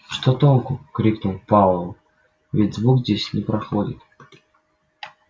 что толку крикнул пауэлл ведь звук здесь не проходит